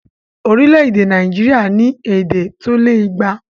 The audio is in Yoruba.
Orílẹ̀èdè Nàìjíríà ní èdè tó lé igba